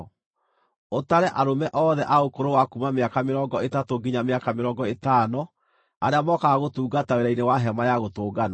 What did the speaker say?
Ũtare arũme othe a ũkũrũ wa kuuma mĩaka mĩrongo ĩtatũ nginya mĩaka mĩrongo ĩtano arĩa mokaga gũtungata wĩra-inĩ wa Hema-ya-Gũtũnganwo.